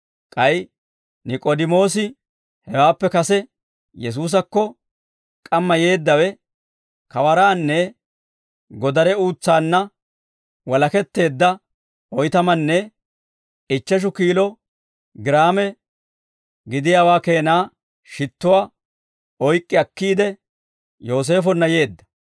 K'ay Nik'oodimoosi hewaappe kase Yesuusakko k'amma yeeddawe, kawaraannanne godare uutsaanna walaketteedda oytamanne ichcheshu kiilo giraame gidiyaawaa keena shittuwaa oyk'k'i akkiide, Yooseefonna yeedda.